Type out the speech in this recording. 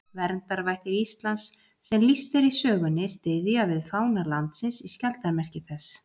Verndarvættir Íslands sem lýst er í sögunni styðja við fána landsins í skjaldarmerki þess.